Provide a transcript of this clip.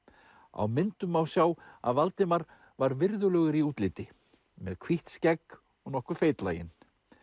á myndum má sjá að Valdimar var virðulegur í útliti með hvítt skegg og nokkuð feitlaginn